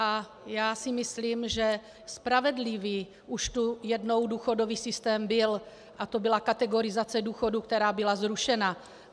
A já si myslím, že spravedlivý už tu jednou důchodový systém byl a to byla kategorizace důchodů, která byla zrušena.